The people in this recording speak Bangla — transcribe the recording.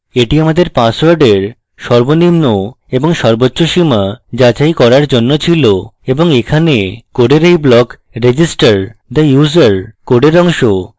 এটি আমাদের পাসওয়ার্ডের সর্বনিম্ন এবং সর্বোচ্চ সীমা যাচাই করার জন্য ছিল এবং এখানে code এই block register the user code অংশ